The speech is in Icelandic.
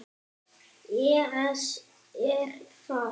ES Er það?